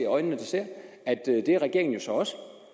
af øjnene der ser at det er regeringen jo så også